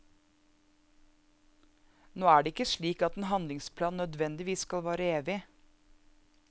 Nå er det ikke slik at en handlingsplan nødvendigvis skal vare evig.